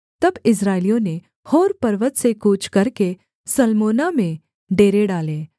तब इस्राएलियों ने होर पर्वत से कूच करके सलमोना में डेरे डाले